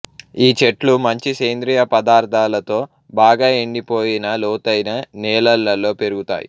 ఈ చెట్లు మంచి సేంద్రీయ పదార్థాలతో బాగా ఎండిపోయిన లోతైన నేలల్లో పెరుగుతాయి